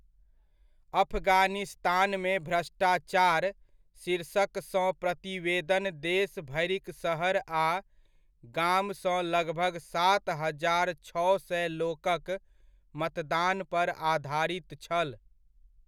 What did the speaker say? अफगानिस्तानमे भ्रष्टाचार' शीर्षक सँ प्रतिवेदन देश भरिक शहर आ गामसँ लगभग सात हजार छओ सए लोकक मतदान पर आधारित छल।